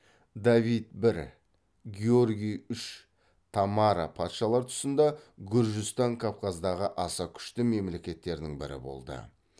давид бір георги үш тамара патшалар тұсында гүржістан кавказдағы аса күшті мемлекеттердің бірі болды